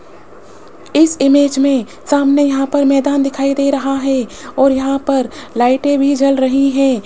इस इमेज में सामने यहां पर मैदान दिखाई दे रहा है और यहां पर लाइटें भी जल रही हैं।